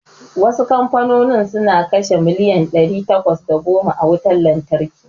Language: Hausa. Wasu kamfanonin suna kashe miliyan ɗari takwas da goma a wutar lantarki.